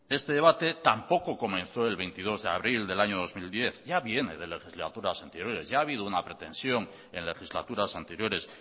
este debate tampoco comenzó el veintidós de abril del año dos mil diez ya viene de legislaturas anteriores ya ha habido una pretensión en legislaturas anteriores